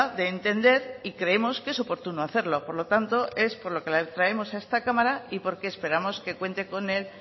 de entender y creemos que es oportuno hacerlo por lo tanto es por lo que la traemos a esta cámara y porque esperamos que cuente con el